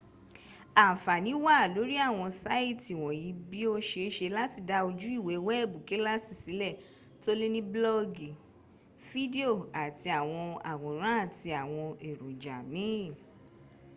anfani wa lori awon saiti wonyi bii o seese lati da oju iwe weebu kilasi sile to le ni blogi fidio ati awon aworan ati awon eroja miin